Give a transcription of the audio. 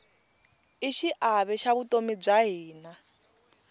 i xiave xa vutomi bya hina